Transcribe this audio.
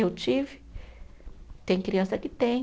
Eu tive, tem criança que tem.